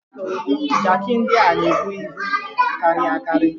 Jaaki ndị a na-ebu ibu karịrị akari.